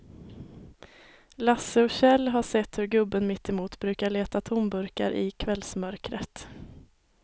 Lasse och Kjell har sett hur gubben mittemot brukar leta tomburkar i kvällsmörkret.